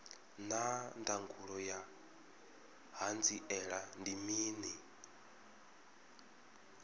naa ndangulo ya hanziela ndi mini